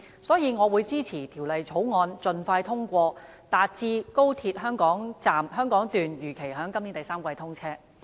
所以，我會支持《廣深港高鐵條例草案》盡快通過，達致高鐵香港段如期在今年第三季通車。